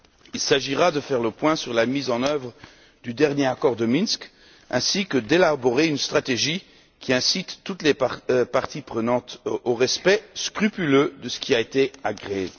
Il s'agira de faire le point sur la mise en œuvre du dernier accord de Minsk ainsi que d'élaborer une stratégie qui incite toutes les parties prenantes au respect scrupuleux de ce qui a été agréé.